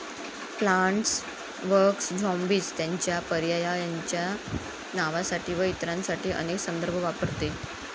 Plants vs zombies त्याच्या पर्यायायांच्या नावासाठी व इतरांसाठी अनेक संदर्भ वापरते.